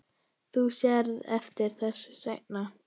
Þú sérð eftir þessu seinna.